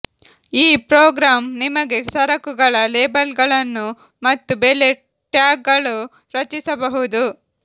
ಈ ಪ್ರೋಗ್ರಾಂ ನಿಮಗೆ ಸರಕುಗಳ ಲೇಬಲ್ಗಳನ್ನು ಮತ್ತು ಬೆಲೆ ಟ್ಯಾಗ್ಗಳು ರಚಿಸಬಹುದು